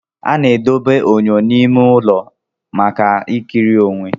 A na-edobe enyo n'ime ime ụlọ maka ikiri onwe.